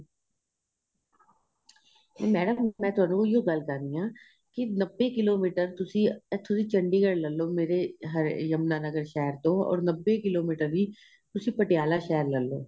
madam ਮੈਂ ਤੁਹਾਨੂੰ ਇਹੋ ਗੱਲ ਕਰ ਰਹੀ ਹਾਂ ਕੀ ਨੱਬੇ ਕਿਲੋਮੀਟਰ ਤੁਸੀਂ ਇਥੋ ਦੀ ਚੰਡੀਗੜ੍ਹ ਲੇਲੋ ਮੇਰੇ ਯਮੁਨਾਨਗਰ ਸ਼ਹਿਰ ਤੋ ਔਰ ਨੱਬੇ ਕਿਲੋਮੀਟਰ ਵੀ ਤੁਸੀਂ ਪਟਿਆਲਾ ਸ਼ਹਿਰ ਲੈਲੋ